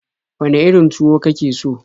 Wane irin tuwo ka ke so?